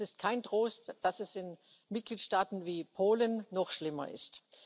Und es ist kein Trost, dass es in Mitgliedstaaten wie Polen noch schlimmer ist.